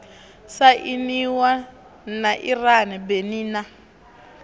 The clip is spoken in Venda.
sainiwa na iran benin na